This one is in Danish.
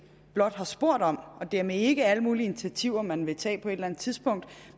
blot har spurgt om og dermed ikke alle mulige initiativer man vil tage på et eller andet tidspunkt